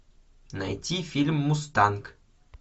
найти фильм мустанг